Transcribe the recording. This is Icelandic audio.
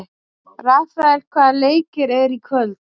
Rafael, hvaða leikir eru í kvöld?